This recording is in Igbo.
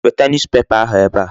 Weta newspaper ahụ ebe a.